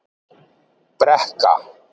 Brekka